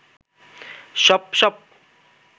সপ সপ